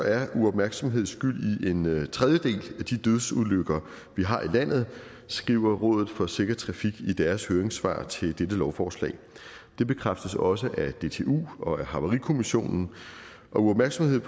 er uopmærksomhed skyld i en tredjedel af de dødsulykker vi har i landet skriver rådet for sikker trafik i deres høringssvar til dette lovforslag det bekræftes også af dtu og af haverikommissionen og uopmærksomhed